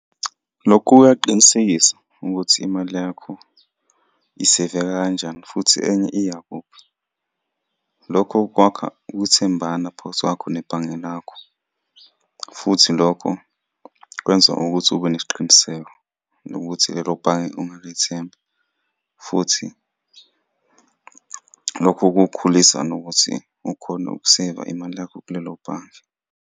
Lokhu kuyaqinisekisa ukuthi imali yakho iseveka kanjani futhi enye iyakuphi. Lokho kwakha ukuthembana phakathi kwakho nebhange lakho, futhi lokho kwenza ukuthi ube nesiqiniseko, nokuthi lelo bhange ungalethemba, futhi lokho kukhulisa nokuthi ukhone ukuseva imali yakho kulelo bhange.